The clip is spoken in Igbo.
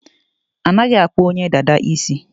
Anaghị akpụ onye dada isi.